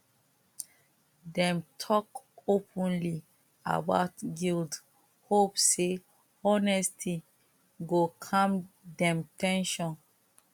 dem talk openly about guilt hope say honesty go calm dem ten sion